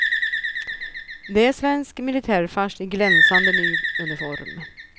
Det är svensk militärfars i glänsande ny uniform.